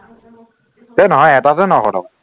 হে নহয় এটাতে নশ টকা